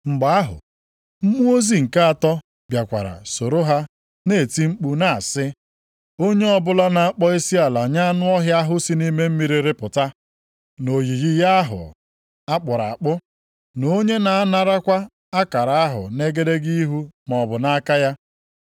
Mgbe ahụ, mmụọ ozi nke atọ bịakwara soro ha na-eti mkpu na-asị, “Onye ọbụla na-akpọ isiala nye anụ ọhịa ahụ si nʼime mmiri rịpụta, na oyiyi ya ahụ a kpụrụ akpụ, na onye na-anarakwa akara ahụ nʼegedege ihu maọbụ nʼaka ya,